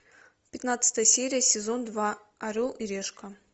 пятнадцатая серия сезон два орел и решка